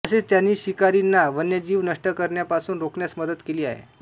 तसेच त्यांनी शिकारींना वन्यजीव नष्ट करण्यापासून रोखण्यास मदत केली आहे